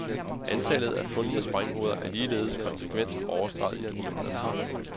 Antallet af fundne sprænghoveder er ligeledes konsekvent overstreget i dokumenterne.